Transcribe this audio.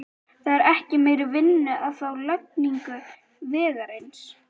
Það er ekki meiri vinnu að fá við lagningu vegarins.